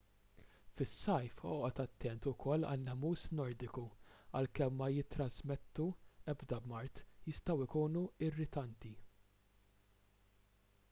fis-sajf oqgħod attent ukoll għan-nemus nordiku għalkemm ma jittrażmettu ebda mard jistgħu jkunu irritanti